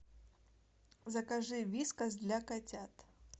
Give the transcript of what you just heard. закажи вискас для котят